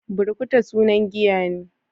Burkuta sunan giya ne.